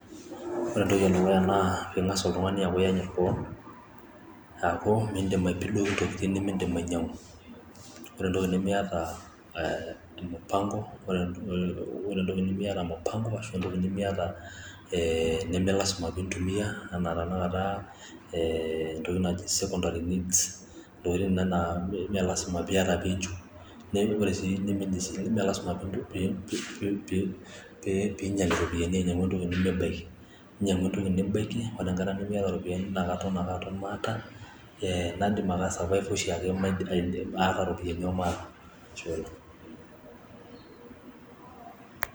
ore entoki edukuya naa piing'as oltung'ani ayanyit kewon, aaku midim aipidoki intokitin nimidim ainyang'u, ore entoki nimiata mupango ashu entoki neme ilasima piintumia, aantokitin naijo secondary needs ,ntokitin nena naa imelasima piiyata peichu, nemelasima sii ping'ial iropiyiani ainyang'u entoki nimibaki inyang'u entoki nibaki, ore engata nimiata iropiyiani naakanidim ake ai survivor ooshiake ata iropiyiani omaata.